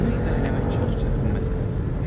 Bunu izah eləmək çox çətin məsələdir.